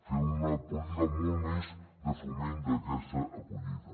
fer una política molt més de foment d’aquesta acollida